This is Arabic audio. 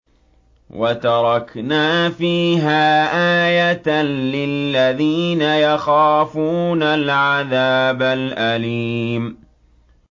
وَتَرَكْنَا فِيهَا آيَةً لِّلَّذِينَ يَخَافُونَ الْعَذَابَ الْأَلِيمَ